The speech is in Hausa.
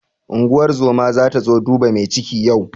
Unguwar zoma zata zo duba mai ciki yau.